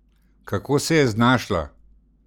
Kako se je znašla?